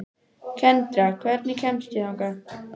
Kendra, hvernig kemst ég þangað?